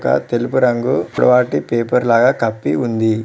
అక్కడ తెలుపు రంగు వాటి పేపర్ లాగా కప్పి ఉంది.